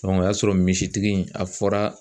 o y'a sɔrɔ misitigi in a fɔra.